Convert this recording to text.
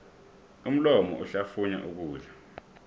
umlomo uhlafunya ukudla